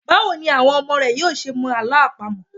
Báwo ni àwọn ọmọ rẹ yóò ṣe mọ Àlọ́ àpamọ̀?